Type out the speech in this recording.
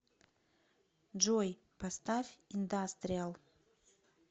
джой поставь индастриал